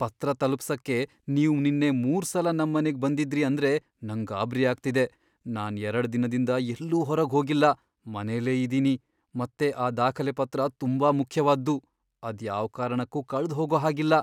ಪತ್ರ ತಲುಪ್ಸಕ್ಕೆ ನೀವ್ ನಿನ್ನೆ ಮೂರ್ಸಲ ನಮ್ಮನೆಗ್ ಬಂದಿದ್ರಿ ಅಂದ್ರೆ ನಂಗ್ ಗಾಬ್ರಿ ಆಗ್ತಿದೆ, ನಾನ್ ಎರಡ್ ದಿನದಿಂದ ಎಲ್ಲೂ ಹೊರಗ್ ಹೋಗಿಲ್ಲ, ಮನೆಲೇ ಇದೀನಿ, ಮತ್ತೆ ಆ ದಾಖಲೆಪತ್ರ ತುಂಬಾ ಮುಖ್ಯವಾದ್ದು, ಅದ್ ಯಾವ್ ಕಾರಣಕ್ಕೂ ಕಳ್ದ್ಹೋಗೋಹಾಗಿಲ್ಲ!